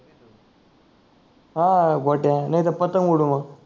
अं गोट्या नाही तर पतंग उडाऊ मंग